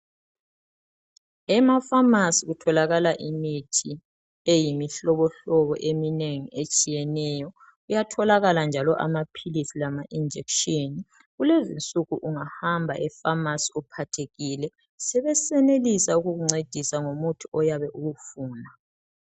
Ema pharmacy kutholakala imithi eyimihlobohlobo eminengi etshiyeneyo. Kuyatholakala njalo amaphilisi lama injection. Kulezinsuku ungahamba epharmacy uphathekile sebesenelisa ukukuncedisa ngomuthi oyabe uwufuna.